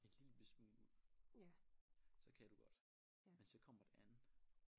Et lille bitte smule ud så kan du godt men så kommer det an